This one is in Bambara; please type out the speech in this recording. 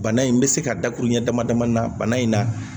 Bana in bɛ se ka dakuru ɲɛ damadamanin na bana in na